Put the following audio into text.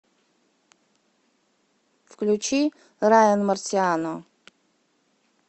включи райан марсиано